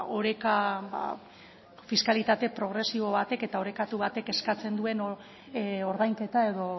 oreka fiskalitate progresibo batek eta orekatu batek eskatzen duen ordainketa edo